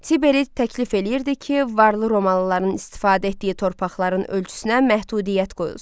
Tiberi təklif eləyirdi ki, varlı romalıların istifadə etdiyi torpaqların ölçüsünə məhdudiyyət qoyulsun.